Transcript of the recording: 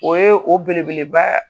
O ye o belebeleba